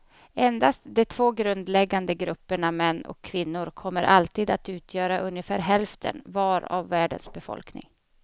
Endast de två grundläggande grupperna män och kvinnor kommer alltid att utgöra ungefär hälften var av världens befolkning.